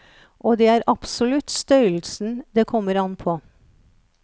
Og det er absolutt størrelsen det kommer an på.